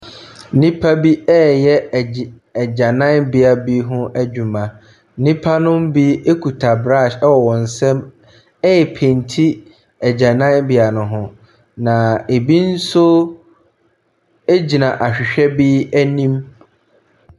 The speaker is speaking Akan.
Nnipa bi reyɛ agyi agyananbea bi ho adwuma. Nnipa binom bi kuta brush wɔ wɔn nsam repaiti agyananbea no ho. Na ebi nso gyina ahwehwɛ bi anim.